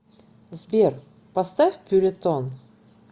сбер поставь пюретон